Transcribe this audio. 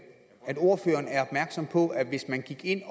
ordføreren er opmærksom på at hvis man gik ind